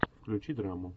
включи драму